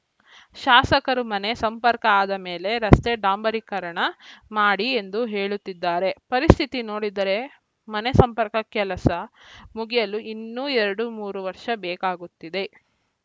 ಶಾಸಕರು ಮನೆ ಸಂಪರ್ಕ ಆದ ಮೇಲೆ ರಸ್ತೆ ಡಾಂಬಾರೀಕರಣ ಮಾಡಿ ಎಂದು ಹೇಳುತ್ತಿದ್ದಾರೆ ಪರಿಸ್ಥಿತಿ ನೋಡಿದರೆ ಮನೆ ಸಂಪರ್ಕ ಕೆಲಸ ಮುಗಿಯಲು ಇನ್ನೂ ಎರಡು ಮೂರು ವರ್ಷ ಬೇಕಾಗುತ್ತಿದೆ